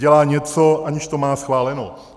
Dělá něco, aniž to má schváleno.